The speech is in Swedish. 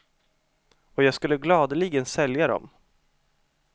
Och jag skulle gladeligen sälja dom.